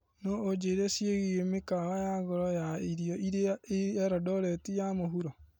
No ũnjĩre ciĩgiĩ mĩkawa ya goro ya irio ĩrĩa ĩ elondoreti ya mũhuro.